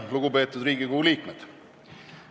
Lugupeetud Riigikogu liikmed!